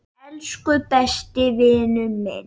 Elsku besti vinur minn.